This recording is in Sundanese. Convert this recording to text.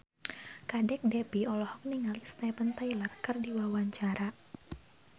Kadek Devi olohok ningali Steven Tyler keur diwawancara